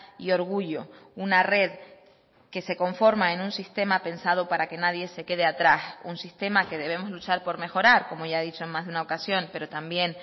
y orgullo una red que se conforma en un sistema pensado para que nadie se quede atrás un sistema que debemos luchar por mejorar como ya he dicho en más de una ocasión pero también